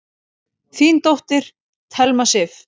Þín dóttir, Thelma Sif.